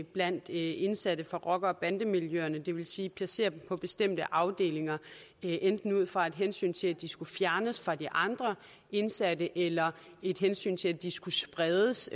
blandt indsatte og rocker bande miljøerne det vil sige placere dem på bestemte afdelinger enten ud fra et hensyn til at de skal fjernes fra de andre indsatte eller et hensyn til at de skal spredes